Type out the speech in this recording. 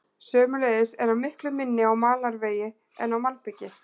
Sömuleiðis er hann miklu minni á malarvegi en á malbiki.